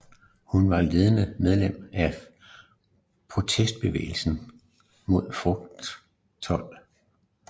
Hun var ledende medlem af protestbevægelsen mod frugttold